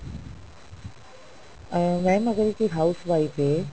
ਅਹ mam ਅਗਰ ਇੱਕ house wife ਹੈ